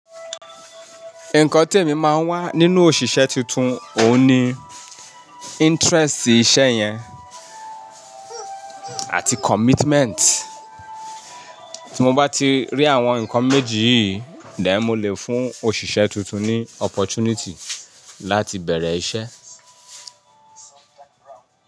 Nǹkan tí èmi máa ń wá nínú òṣìṣẹ́ tuntun òun ni interest sí ìṣe yẹn àti commitment. Tí mo bá ti rí àwọn nǹkan méjì yìí, then mó lè fún òṣìṣẹ́ tuntun ní opportunity láti bẹ̀rẹ̀ ìṣe.